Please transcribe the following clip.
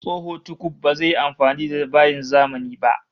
Tsoho tukuf bazai iya amfani da bayin zamani ba